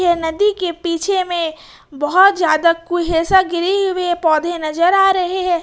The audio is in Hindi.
यह नदी के पीछे में बहुत ज्यादा कुहेसा घीरे हुए पौधे नजर आ रहे हैं।